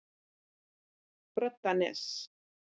Broddanesi